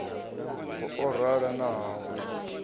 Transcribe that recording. ha orala na ha u